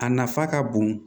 A nafa ka bon